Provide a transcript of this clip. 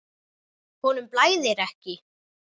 Honum blæðir ekki.